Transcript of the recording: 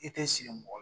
I tɛ siri mɔgɔ la